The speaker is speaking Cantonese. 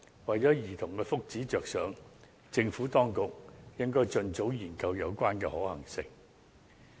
為了兒童的福祉着想，政府當局應該盡早研究有關的可行性。